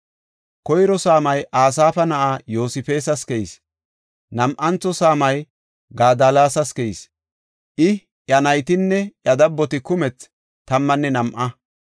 Koyro saamay Asaafa na7aa Yoosefas keyis. Nam7antho saamay Gadallas keyis; I, iya naytinne iya dabboti kumethi tammanne nam7a.